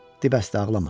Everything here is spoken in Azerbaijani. Di bəsdə ağlama!